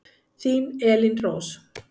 Þín Elín Rós.